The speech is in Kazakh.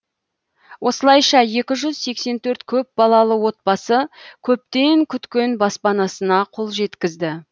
осылайша екі жүз сексен төрт көпбалалы отбасы көптен күткен баспанасына қол жеткізді